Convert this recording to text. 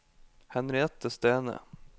Henriette Stene